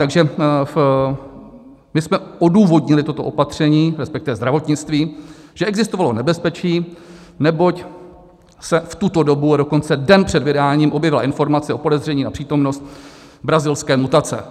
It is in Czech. Takže my jsme odůvodnili toto opatření, respektive zdravotnictví, že existovalo nebezpečí, neboť se v tuto dobu, a dokonce den před vydáním, objevila informace o podezření na přítomnost brazilské mutace.